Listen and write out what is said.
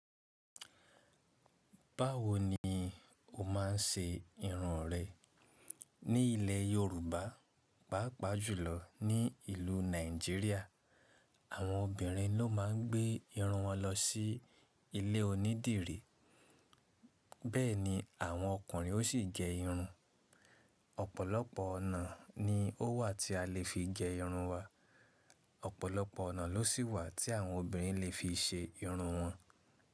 Báwo ni o má ń ṣe irun rẹ? Ní ilẹ̀ Yorùbá, pàápàá jùlọ ní ìlú Nàìjíríà, àwọn obìnrin ló má ń gbé irun wọn lọ sí ilé onídìrí, bẹ́ẹ̀ ni àwọn ọkùnrin ó sì gẹ irun. Ọ̀pọ̀lọpọ̀ ọ̀nà ni ó wà tí a lè fi gẹ irun wa, Ọ̀pọ̀lọpọ̀ ọ̀nà ló sì wà tí àwọn obìnrin lè fi ṣe irun wọn.